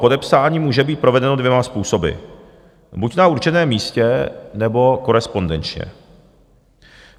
Podepsání může být provedeno dvěma způsoby, buď na určeném místě, nebo korespondenčně.